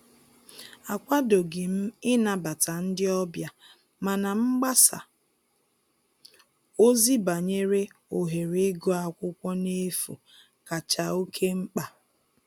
Akwadoghị m ịnabata ndị ọbịa, mana mgbasa ozi banyere ohere ịgụ akwụkwọ n'efu kacha oke mkpa